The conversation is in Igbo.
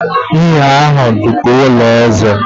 Inn ahụ dị ka ụlọ eze.